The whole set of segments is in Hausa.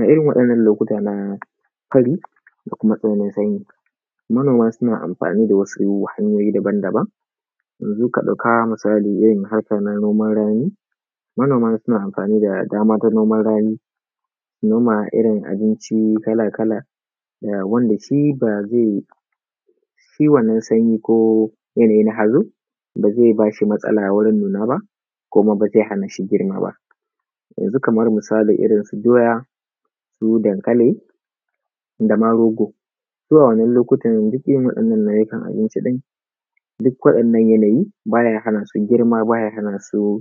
A irin wa’innan lokuta na fari da kuma yanayi na sanyi, manoma suna amfani da wasu hanyoyi daban-daban. Yanzu ka ɗauka misali irin harka na noman rani, manoma su, na amfani da daman a noman rani, su noma irin abinci kala-kala, wanda shi ba zai, shi wannan sanyi ko yanayi na hazo, ba zai ba shi matsala wurin nuna ba kuma ba zai hana shi girma ba, yanzu kamar, misalin irinsu doya, su dankali da ma rogo, su a wannan lokutan duk irin waɗannan nau’ukan abinci ɗin, duk waɗannan yanayin ba ya hana su girma, ba ya hana su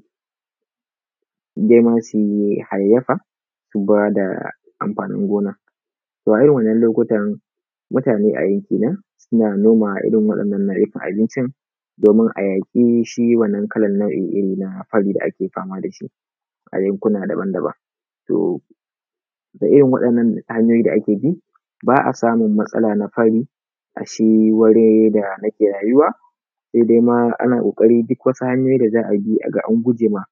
nema su hayayyafa su ba da amfanin gona. To a irin wannan lokutan mutane kenan suna noma irin waɗannan nau’ukan abincin domin a yaƙi shi wannan kalan nau’in iri na fari da ake fama da shi a yankuna daban-daban. To da irin waɗannan hanyoyi da ake bi, ba a samun matsala na fari a shi wuri da nake rayuwa, sai dai ma ana ƙoƙarin duk wasu hanyoyi da za a bi a ga an guje ma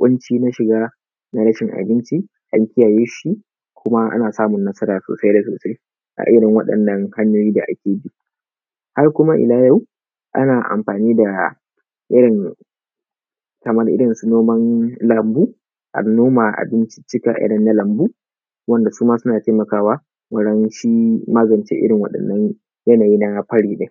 ƙunci na shiga na rashin abinci an kiyaye shi kuma ana samun nasara sosai da sosai a irin waɗannan hanyoyi da ake bi. Har kuma ila yau ana amfani da irin, wa’in kamar irinsu noman lambu, an noma abinciccika irin na lambu wanda su ma suna taimakawa wurin shi magance irin waɗannan yanayi na fari ɗin.